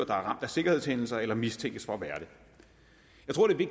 ramt af sikkerhedshændelser eller mistænkes for at være det